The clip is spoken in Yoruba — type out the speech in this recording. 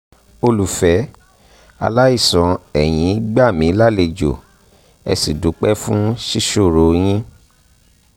olùfẹ́ aláìsàn ẹ̀yin gbà mí lálejò ẹ sì dúpẹ́ fún sísọ̀rọ̀ yín